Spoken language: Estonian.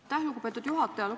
Aitäh, lugupeetud juhataja!